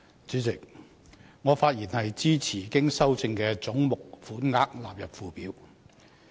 主席，我發言支持經修正的總目款額納入附表。